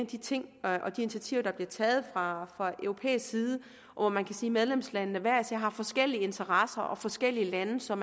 de ting og de initiativer der bliver taget fra europæisk side og hvor man kan sige medlemslandene hver især har forskellige interesser og forskellige lande som